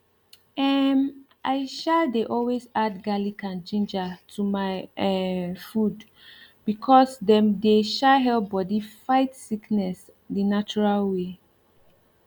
emm i um dey always add garlic and ginger to my um food because dem dey um help bodi fight sickness the natural way